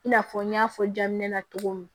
I n'a fɔ n y'a fɔ daminɛ na cogo min